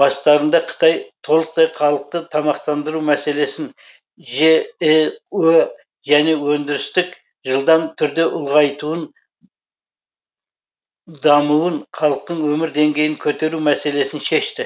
бастарында қытай толықтай халықты тамақтандыру мәселесін жіө және өндірістік жылдам түрде ұлғайтуын дамуын халықтың өмір деңгейін көтеру мәселесін шешті